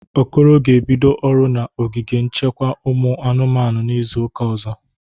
Okoro ga-ebido ọrụ na ogige nchekwa ụmụ anụmanụ n'izụ ụka ọzọ.